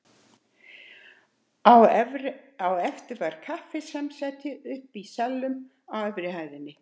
Á eftir var kaffisamsæti uppi í salnum á efri hæð hússins.